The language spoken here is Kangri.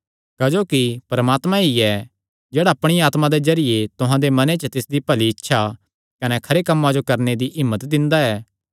क्जोकि परमात्मा ई ऐ जेह्ड़ा अपणिया आत्मा दे जरिये तुहां दे मने च तिसदी भली इच्छा कने खरे कम्मां जो करणे दी हिम्मत दिंदा ऐ